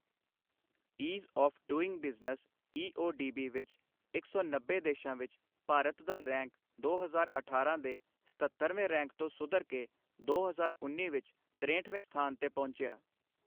ease of doing business EODB ਵਿੱਚ ਇੱਕ ਸੌ ਨੱਬੇ ਦੇਸ਼ਾਂ ਵਿੱਚ ਭਾਰਤ ਦਾ ਰੈਂਕ ਦੋ ਹਜ਼ਾਰ ਅਠਾਰਾਂ ਦੇ ਸਤੱਤਰਵੇਂ ਰੈਂਕ ਤੋਂ ਸੁਧਰ ਕੇ ਦੋ ਹਜ਼ਾਰ ਉੱਨੀ ਵਿੱਚ ਤਰੇਹਠਵੇਂ ਸਥਾਨ ਤੇ ਪਹੁੰਚਿਆ